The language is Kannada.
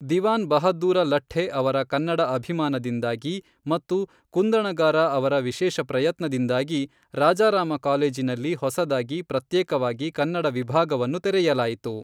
ದಿವಾನ್ ಬಹಾದ್ದೂರ ಲಠ್ಠೆ ಅವರ ಕನ್ನಡ ಅಭಿಮಾನದಿಂದಾಗಿ ಮತ್ತು ಕುಂದಣಗಾರ ಅವರ ವಿಶೇಷ ಪ್ರಯತ್ನದಿಂದಾಗಿ ರಾಜಾರಾಮ ಕಾಲೇಜಿನಲ್ಲಿ ಹೊಸದಾಗಿ ಪ್ರತ್ಯೇಕವಾಗಿ ಕನ್ನಡ ವಿಭಾಗವನ್ನು ತೆರೆಯಲಾಯಿತು.